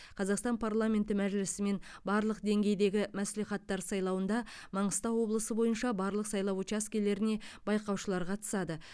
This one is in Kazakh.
қазақстан парламенті мәжілісі мен барлық деңгейдегі мәслихаттар сайлауында маңғыстау облысы бойынша барлық сайлау учаскелеріне байқаушылар қатысады